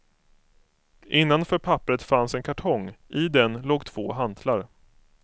Innanför papperet fanns en kartong, i den låg två hantlar.